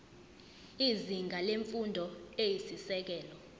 izinga lemfundo eyisisekelo